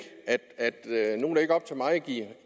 op til mig at give